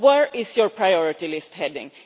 Where is your priority list heading?